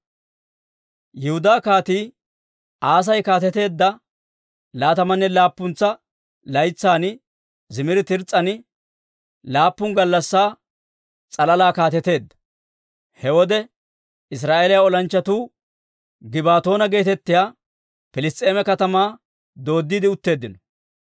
Yihudaa Kaatii Aasi kaateteedda laatamanne laappuntsa laytsan Zimiri Tirs's'an laappun gallassaa s'alalaa kaateteedda. He wode Israa'eeliyaa olanchchatuu Gibbatoona geetettiyaa Piliss's'eema katamaa dooddiide utteeddino.